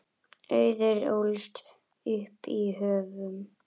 Auður ólst upp í Höfnum.